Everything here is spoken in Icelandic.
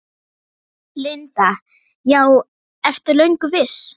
Linda: Já, ertu löngu viss?